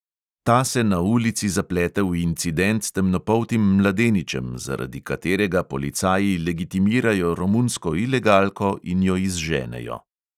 Ta se na ulici zaplete v incident s temnopoltim mladeničem, zaradi katerega policaji legitimirajo romunsko ilegalko in jo izženejo.